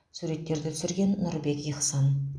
суреттерді түсірген нұрбек ихсан